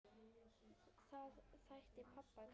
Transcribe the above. Það þætti pabba gaman.